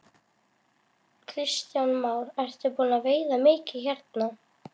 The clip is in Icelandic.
Kristján Már: Ertu búinn að veiða mikið hérna?